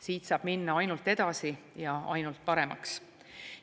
Siit saab minna ainult edasi ja ainult paremaks.